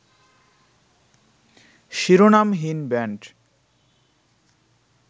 Shironamhin band